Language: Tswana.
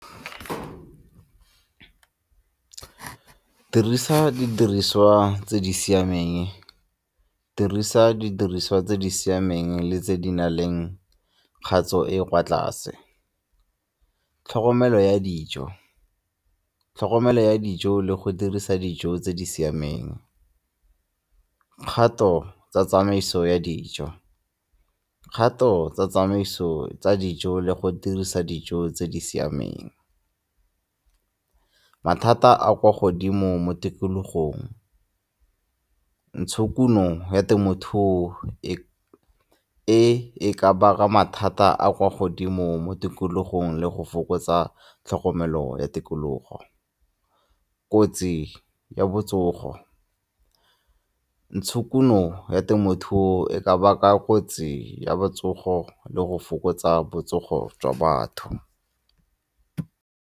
Dirisa didiriswa tse di siameng, dirisa didiriswa tse di siameng le tse di na leng tatso e e kwa tlase. Tlhokomelo ya dijo, tlhokomelo ya dijo le go dirisa dijo tse di siameng. Kgato tsa tsamaiso ya dijo, kgato tsa tsamaiso tsa dijo le go dirisa dijo tse di siameng. Mathata a kwa godimo mo tikologong, ntshokuno ya temothuo e e ka baka mathata a kwa godimo mo tikologong le go fokotsa tlhokomelo ya tikologo. Kotsi ya botsogo, ntshokuno ya temothuo e ka baka kotsi ya botsogo le go fokotsa botsogo jwa batho.